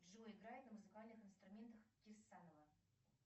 джой играет ли на музыкальных инструментах кирсанова